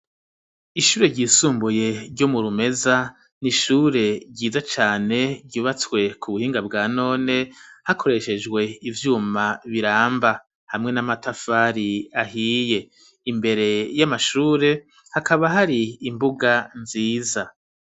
Ishure ry'isumbuye ryo mu Rumeza n'ishure ryiza cane ryubatswe ku buhinga bwa none hakoreshejwe ivyuma biramba hamwe n'amatafari ahiye imbere y'amashure hakaba hari imbuga nziza.